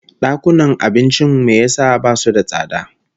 Dakunan abincin me yasa basu da tsada?